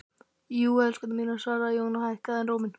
Jú, elskurnar mínar, svaraði Jón og hækkaði enn róminn.